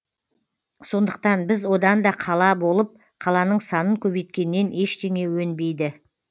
сондықтан біз одан да қала болып қаланың санын көбейткеннен ештеңе өнбейді